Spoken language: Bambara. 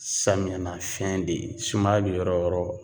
Samiya na fiyɛn de, sumaya bɛ yɔrɔ o yɔrɔ